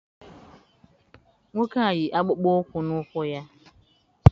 Nwoke a yi akpụkpọ ụkwụ na ụkwụ ya.